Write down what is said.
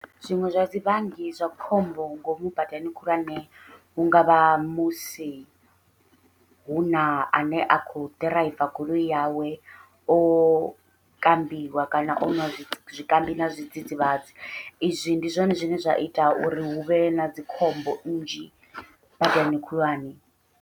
Zwiṅwe zwa zwivhangi zwa khombo ngomu badani khulwane, hungavha musi huna ane a khou ḓiraiva goloi yawe o kambiwa kana onwa zwikambi na zwidzidzivhadzi, izwi ndi zwone zwine zwa ita uri huvhe na dzikhombo nnzhi badani khulwane.